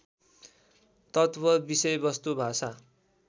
तत्त्व विषयवस्तु भाषा